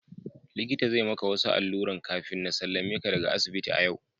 Likita zai maka wasu alluran kafina sallameka daga asibiti a yau.